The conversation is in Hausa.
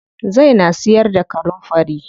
Zai na siyar da kanunfari.